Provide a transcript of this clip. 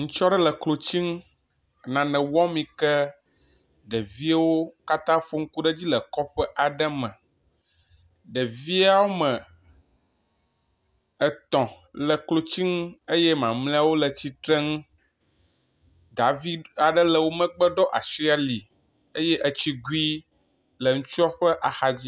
Ŋutsu aɖe le klotsunu le nena wɔm yi ke ɖeviwo katã fo ŋku ɖe edzi kɔƒe aɖe me, ɖevi wometɔ̃ le klotsinu eye mamlɛwo le tsitrenu, davi aɖe le wo megbe ɖɔ asi ali eye etsigui le ŋutsua ƒe axa dzi